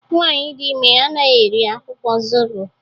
Nwanyị dị ime anaghị eri akwụkwọ zobo